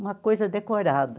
uma coisa decorada.